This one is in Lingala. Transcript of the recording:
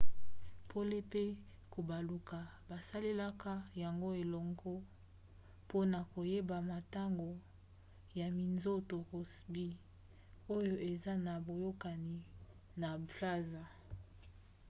pole pe kobaluka basalelaka yango elongo mpona koyeba motango ya minzoto rossby oyo eza na boyokani na plazma